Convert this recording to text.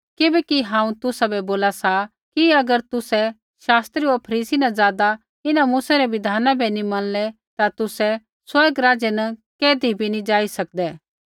किबैकि हांऊँ तुसाबै बोला सा कि अगर तुसै शास्त्री होर फरीसी न ज़ादा इन्हां मूसै रै बिधाना बै नी मनलै ता तुसै स्वर्ग राज्य न कैधी भी नी जाई सकदै